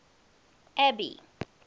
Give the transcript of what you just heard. abby